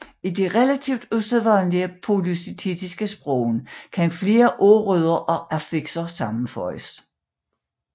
I de relativt usædvanlige polysyntetiske sprog kan flere ordrødder og affixer sammenføjes